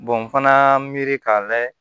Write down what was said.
n fana y'a miiri k'a layɛ